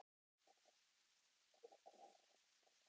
Hún lítur niður á varðhundinn við dyrnar.